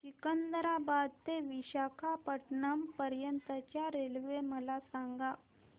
सिकंदराबाद ते विशाखापट्टणम पर्यंत च्या रेल्वे मला सांगा